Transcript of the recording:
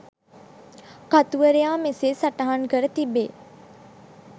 කතුවරයා මෙසේ සටහන් කර තිබේ